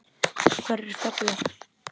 Hverjir falla?